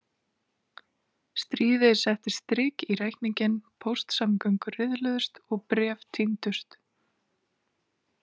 Stríðið setti strik í reikninginn, póstsamgöngur riðluðust og bréf týndust.